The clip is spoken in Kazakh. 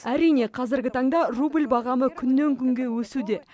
әрине қазіргі таңда рубль бағамы күннен күнге өсуде